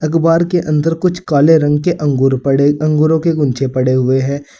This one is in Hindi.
गुबार के अंदर कुछ काले रंग के अंगूर पड़े अंगूरों के गुंचे पड़े हुए हैं।